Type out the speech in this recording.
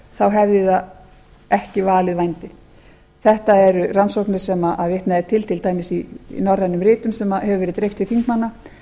þá hefði það ekki valið vændi best eru rannsóknir sem vitnað er til til dæmis í norrænum ritum sem hefur verið dreift til þingmanna